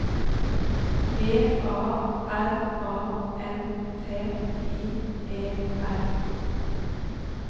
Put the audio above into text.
G A R A N T I E R